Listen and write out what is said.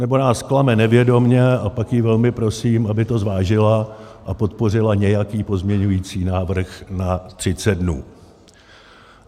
Nebo nás klame nevědomě, a pak ji velmi prosím, aby to zvážila a podpořila nějaký pozměňovací návrh na 30 dnů.